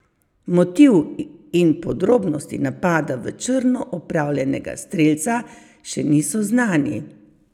Motiv in podrobnosti napada v črno opravljenega strelca še niso znani.